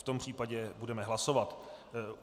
V tom případě budeme hlasovat.